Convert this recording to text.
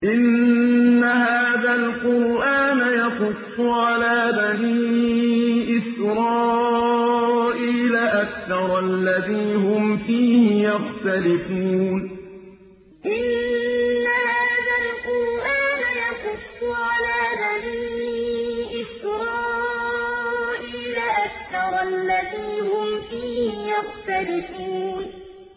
إِنَّ هَٰذَا الْقُرْآنَ يَقُصُّ عَلَىٰ بَنِي إِسْرَائِيلَ أَكْثَرَ الَّذِي هُمْ فِيهِ يَخْتَلِفُونَ إِنَّ هَٰذَا الْقُرْآنَ يَقُصُّ عَلَىٰ بَنِي إِسْرَائِيلَ أَكْثَرَ الَّذِي هُمْ فِيهِ يَخْتَلِفُونَ